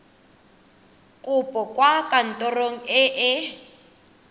kopo kwa kantorong e e